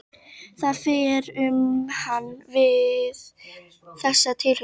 Það fer um hana við þessa tilhugsun.